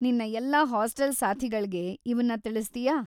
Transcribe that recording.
ನಿನ್ನ ಎಲ್ಲಾ ಹಾಸ್ಟೆಲ್‌ ಸಾಥಿಗಳ್ಗೆ ಇವುನ್ನ ತಿಳಿಸ್ತೀಯಾ?